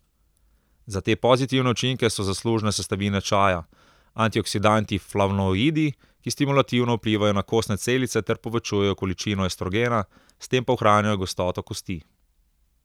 Za te pozitivne učinke so zaslužne sestavine čaja, antioksidanti flavonoidi, ki stimulativno vplivajo na kostne celice ter povečujejo količino estrogena, s tem pa ohranjajo gostoto kosti.